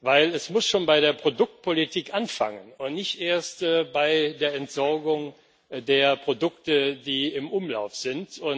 Denn es muss schon bei der Produktpolitik anfangen und nicht erst bei der Entsorgung der Produkte, die im Umlauf sind.